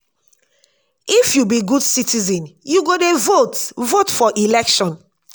if you be good citizen you go dey vote vote for election.